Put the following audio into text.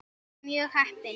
Og mjög heppin!